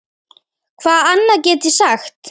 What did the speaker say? Hvað annað get ég sagt?